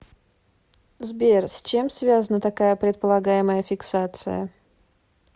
сбер с чем связана такая предполагаемая фиксация